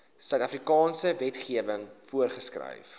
suidafrikaanse wetgewing voorgeskryf